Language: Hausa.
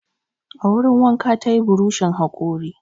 A wurin wanka ta yi burushin haƙori.